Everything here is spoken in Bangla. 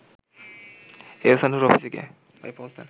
এহসানের অফিসে গিয়ে